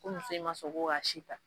Ko muso in ma son ko ka si ta.